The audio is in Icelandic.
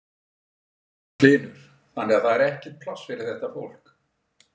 Magnús Hlynur: Þannig að það er ekkert pláss fyrir þetta fólk?